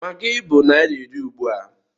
Maggi bụ naira iri ugbua.